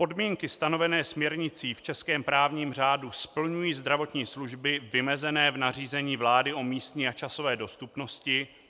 Podmínky stanovené směrnicí v českém právním řádu splňují zdravotní služby vymezené v nařízení vlády o místní a časové dostupnosti.